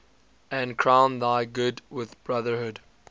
and crown thy good with brotherhood